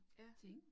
Ja